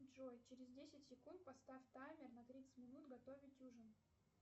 джой через десять секунд поставь таймер на тридцать минут готовить ужин